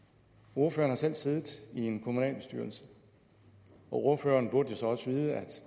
ordføreren har selv siddet i en kommunalbestyrelse og ordføreren burde jo så også vide at